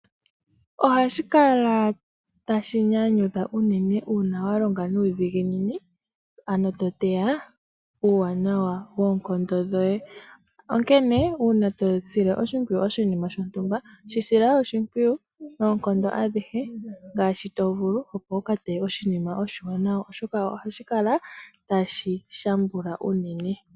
Ohashi kala tashi nyanyudha unene uuna walonga nuudhiginini, ano toteya uuwanawa woonkondo dhoye. Onkene uuna tosile oshimpwiyu oshinima shontumba, shi sila oshimpwiyu noonkondo adhihe ngaashi tovulu, opo wukateye oshinima oshiwanawa, oshoka ohashi kala tashi shambula unene.